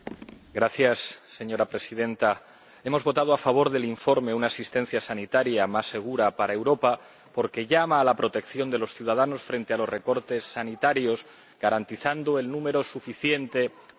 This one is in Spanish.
Señora Presidenta, hemos votado a favor del informe sobre una asistencia sanitaria más segura en Europa porque llama a la protección de los ciudadanos frente a los recortes sanitarios, garantizando el número suficiente de profesionales.